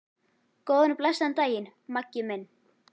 Góðan og blessaðan daginn, Maggi minn.